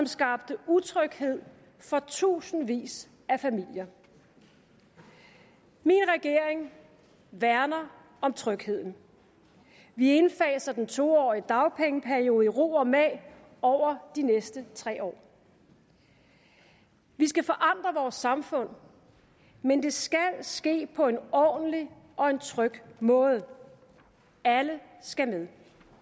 skabte utryghed for tusindvis af familier min regering værner om trygheden vi indfaser den to årige dagpengeperiode i ro og mag over de næste tre år vi skal forandre vores samfund men det skal ske på en ordentlig og tryg måde alle skal med